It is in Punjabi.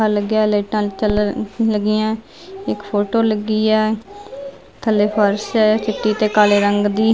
ਆ ਲੱਗਾ ਲਾਈਟਾਂ ਚੱਲ ਲੱਗੀਆਂ ਇੱਕ ਫੋਟੋ ਲੱਗੀ ਆ ਥੱਲੇ ਫਾਰਸ਼ ਆ ਚਿੱਟੇ ਤੇ ਕਾਲੇ ਰੰਗ ਦੀ --